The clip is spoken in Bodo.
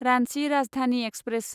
रान्चि राजधानि एक्सप्रेस